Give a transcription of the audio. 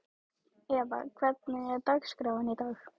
Eva, hvernig er dagskráin í dag?